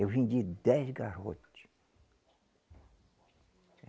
Eu vendi dez garrote.